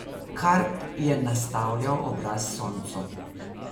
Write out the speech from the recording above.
Karp je nastavljal obraz soncu.